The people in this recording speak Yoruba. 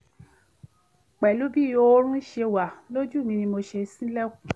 pẹ̀lú bí oorun ṣe wà lójú mi ni mo fi ṣílẹ̀kùn